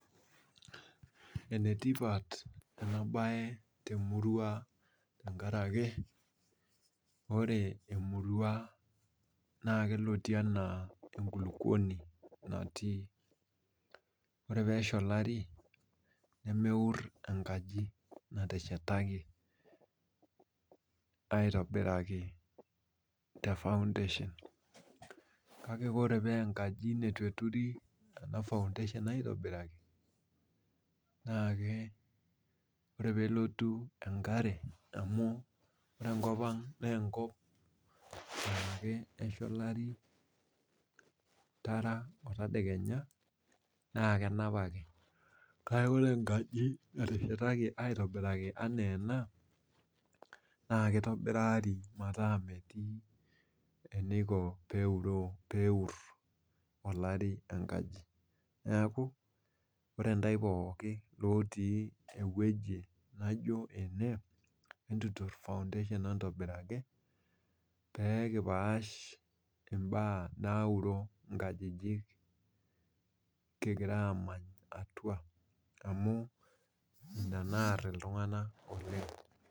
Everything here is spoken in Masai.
Enetipat enaa bae temurua tenkaraki ore emurua naa kelotie ena enkulukuoni natii ore pee esha olari nemeur enkaji nateshetaki aitobiraki te (foundation )kake oree pa enkaji nitu eturi (foundation) aitobiraki oree pelotu enkare amu ore enkop ang na enkop naa Kesha olari Tara, tedekenya nakenap ake kake oree enkaji nateshetaki aitobiraki enaa ena nakeitobirari metaa metii eniko peur olari enkaji, neeku oree intae pooki itii eweji nijo ene entutur (foundation) entobiraki peekipash ibaa nauro inkajijik kigira amany atua amu inaa naar intunganak